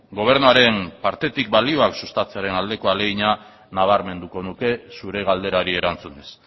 gobernuaren partetik balioak sustatzearen aldeko ahalegina nabarmenduko nuke zure galderari erantzunez